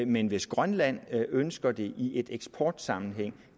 men hvis grønland ønsker det i en eksportsammenhæng